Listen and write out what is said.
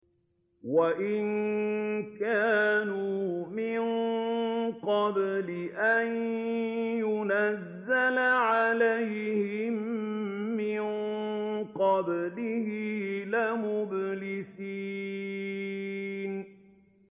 وَإِن كَانُوا مِن قَبْلِ أَن يُنَزَّلَ عَلَيْهِم مِّن قَبْلِهِ لَمُبْلِسِينَ